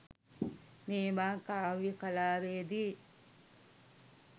මේවා කාව්‍ය කලාවේ දී